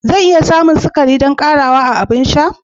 Zan iya samun ƙarin sukari don ƙarawa a abin sha na?